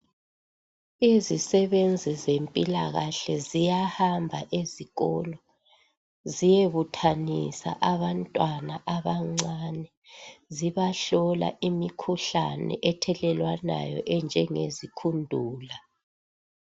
Izisebenzi zemphilakahle ziyahamba ezikolo ziyebuthanisa abantwana abancane. Zibahlola imikhuhlane ethelelanwayo enje ngezikhundula.